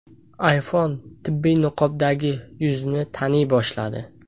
iPhone tibbiy niqobdagi yuzni taniy boshladi.